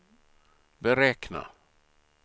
beräkna